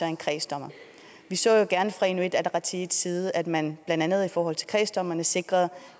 en kredsdommer vi så jo gerne fra inuit ataqatigiits side at man blandt andet i forhold til kredsdommerne sikrede